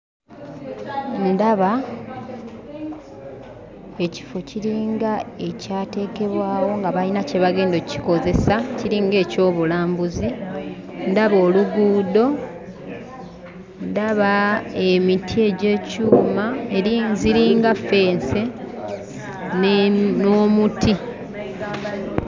Ndaba ekifo kiringa ekyateekebwawo nga balina kye bagenda okkikozesa kiringa eky'obulambuzi ndaba oluguudo, ndaba emiti egy'ekyuma eri ziringa ffensi n'emu n'omuti.